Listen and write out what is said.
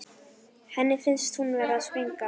Henni finnst hún vera að springa.